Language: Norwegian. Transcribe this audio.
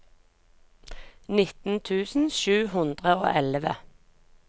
nitten tusen sju hundre og elleve